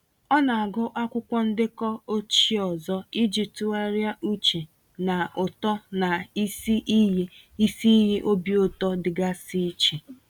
Ọ na-agụ akwụkwọ ndekọ ochie ọzọ iji tụgharịa uche na uto na isi iyi isi iyi obi ụtọ dịgasị iche.